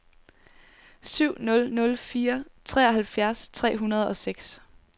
syv nul nul fire treoghalvfjerds tre hundrede og seks